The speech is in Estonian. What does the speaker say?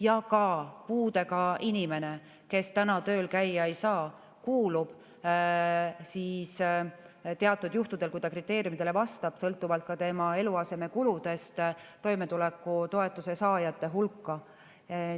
Ja ka puudega inimene, kes tööl käia ei saa, kuulub teatud juhtudel, kui ta kriteeriumidele vastab, sõltuvalt tema eluasemekuludest, toimetuleku toetuse saajate hulka.